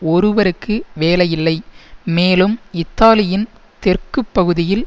ஒருவருக்கு வேலையில்லை மேலும் இத்தாலியின் தெற்கு பகுதியில்